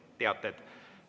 Teated.